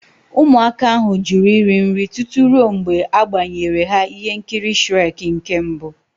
Ụmụaka ahụ jụrụ iri nri tutu ruo mgbe a gbenyere ha ihe nkiri Shrek nke mbụ.